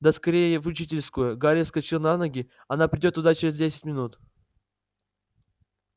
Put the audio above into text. да скорее в учительскую гарри вскочил на ноги она придёт туда через десять минут